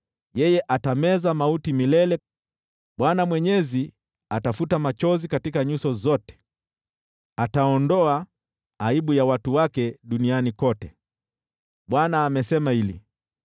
yeye atameza mauti milele. Bwana Mwenyezi atafuta machozi katika nyuso zote; ataondoa aibu ya watu wake duniani kote. Bwana amesema hili.